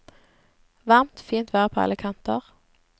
Varmt, fint vær på alle kanter.